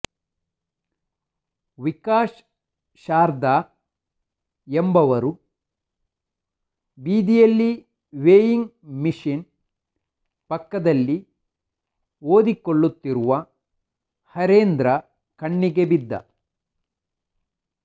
ವಿಕಾಶ್ ಶಾರ್ದಾ ಎಂಬುವವರು ಬೀದಿಯಲ್ಲಿ weighing machine ಪಕ್ಕದಲ್ಲಿ ಓದಿಕೊಳ್ಳುತ್ತಿರುವ ಹರೇಂದ್ರ ಕಣ್ಣಿಗೆ ಬಿದ್ದ